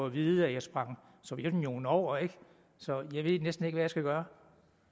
at vide at jeg sprang sovjetunionen over ikke så jeg ved næsten ikke hvad jeg skal gøre